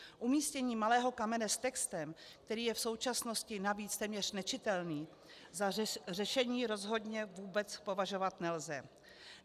Umístění malého kamene s textem, který je v současnosti navíc téměř nečitelný, za řešení rozhodně vůbec považovat nelze.